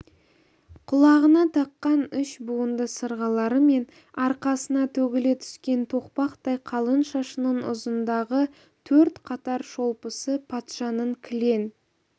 құлағына таққан үш буынды сырғалары мен арқасына төгіле түскен тоқпақтай қалың шашының ұшындағы төрт қатар шолпысы патшаның кілең